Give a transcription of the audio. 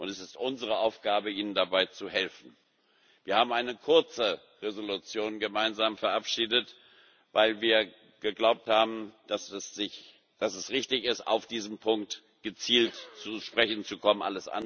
Und es ist unsere Aufgabe, ihnen dabei zu helfen. Wir haben eine kurze Entschließung gemeinsam verabschiedet, weil wir geglaubt haben, dass es richtig ist, auf diesen Punkt gezielt zu sprechen zu kommen.